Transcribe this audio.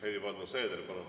Helir-Valdor Seeder, palun!